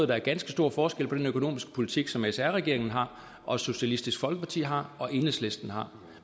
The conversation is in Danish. der er ganske stor forskel på den økonomiske politik som sr regeringen har og socialistisk folkeparti har og enhedslisten har